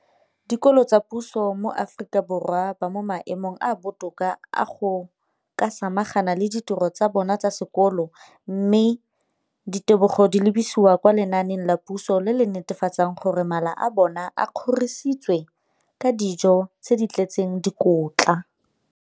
Dikolo tsa puso mo Aforika Borwa ba mo maemong a a botoka a go ka samagana le ditiro tsa bona tsa sekolo, mme ditebogo di lebisiwa kwa lenaaneng la puso le le netefatsang gore mala a bona a kgorisitswe ka dijo tse di tletseng dikotla.